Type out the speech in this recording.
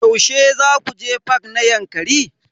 Yaushe zaku je fak na Yankari?